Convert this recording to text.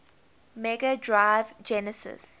mega drive genesis